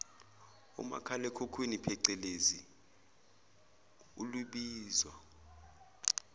umakhalekhukhwini pecelezi olubizwa